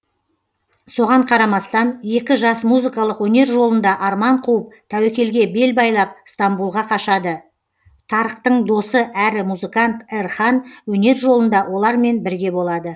соған қарамастан екі жас музыкалық өнер жолында арман қуып тәуекелге бел байлап стамбулға қашады тарыктың досы әрі музыкант эрхан өнер жолында олармен бірге болады